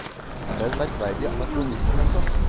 Det er en merkverdig anakronisme hos oss.